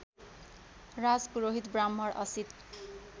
राजपुरोहित ब्राह्मण असित